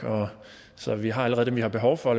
så vi har allerede dem vi har behov for